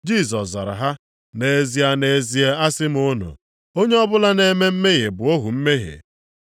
Jisọs zara ha, “Nʼezie, nʼezie asị m unu, onye ọbụla na-eme mmehie bụ ohu mmehie.